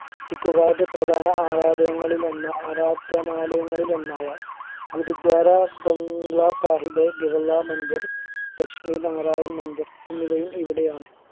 ചിക്കു പ്രധാന ആരാധനകളിൽ ഒന്ന് ആരാധനാലയങ്ങളിൽ ഒന്നായ ഗുരുദ്വാര ബംഗ്ലാ സാഹിബ് ബിർള മന്ദിർ ലക്ഷ്മി നാരായണൻ മന്ദിർ എന്നിവയും ഇവിടെയാണ്